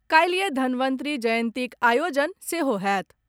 काल्हिए धनवंतरी जयंतीक आयोजन सेहो होयत।